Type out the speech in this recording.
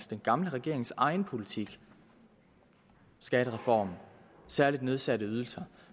den gamle regerings egen politik skattereform særligt nedsatte ydelser